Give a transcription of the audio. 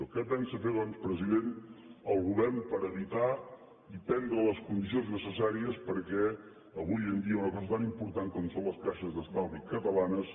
què pensa fer doncs president el govern per evitar i prendre les condicions necessàries perquè avui en dia una cosa tan important com són les caixes d’estalvi ca·talanes